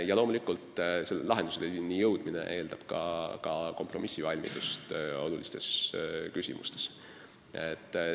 Ja loomulikult eeldab lahendusteni jõudmine ka kompromissivalmidust olulistes küsimustes.